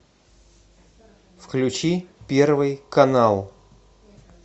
включи первый канал